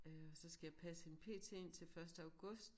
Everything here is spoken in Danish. Øh og så skal jeg passe hende pt indtil første august